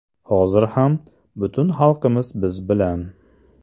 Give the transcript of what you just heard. (Hozir ham) butun xalqimiz biz bilan.